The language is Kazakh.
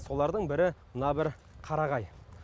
солардың бірі мына бір қарағай